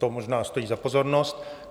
To možná stojí za pozornost.